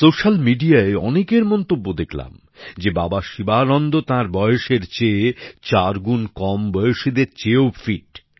social মিডিয়ায় অনেকের মন্তব্য দেখলাম যে বাবা শিবানন্দ তাঁর বয়সের চেয়ে চার গুণ কম বয়সীদের চেয়েও ফিট